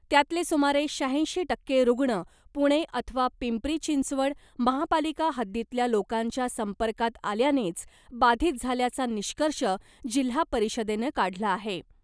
त्यातले सुमारे शहाऐंशी टक्के रुग्ण पुणे अथवा पिंपरी चिंचवड महापालिका हद्दीतल्या लोकांच्या संपर्कात आल्यानेच बाधित झाल्याचा निष्कर्ष जिल्हा परिषदेनं काढला आहे .